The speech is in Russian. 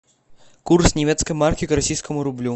курс немецкой марки к российскому рублю